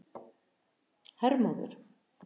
Hermóður